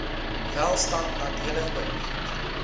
welstand nadelig beïnvloed